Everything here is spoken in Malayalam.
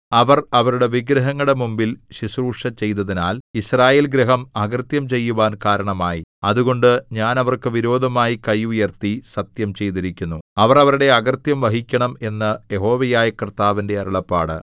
അവർ അവരുടെ വിഗ്രഹങ്ങളുടെ മുമ്പിൽ ശുശ്രൂഷചെയ്തതിനാൽ യിസ്രായേൽഗൃഹം അകൃത്യം ചെയ്യുവാൻ കാരണമായി അതുകൊണ്ട് ഞാൻ അവർക്ക് വിരോധമായി കൈ ഉയർത്തി സത്യം ചെയ്തിരിക്കുന്നു അവർ അവരുടെ അകൃത്യം വഹിക്കണം എന്നു യഹോവയായ കർത്താവിന്റെ അരുളപ്പാട്